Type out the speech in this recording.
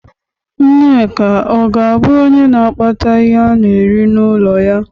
Nneka ọ ga abụ onye na akpata ihe ana-eri n'ụlọ ya?